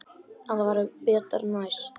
En það verður betra næst.